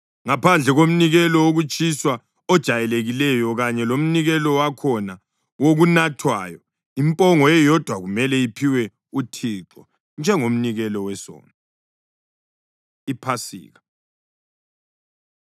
Ngaphandle komnikelo wokutshiswa ojayelekileyo kanye lomnikelo wakhona wokunathwayo, impongo eyodwa kumele iphiwe uThixo njengomnikelo wesono.’ ” IPhasika